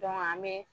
an be